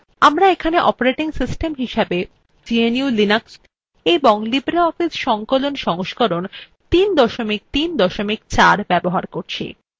এখানে আমরা operating system হিসেবে gnu/linux এবং libreoffice সংকলনwe সংস্করণ ৩ ৩ ৪ ব্যবহার করছি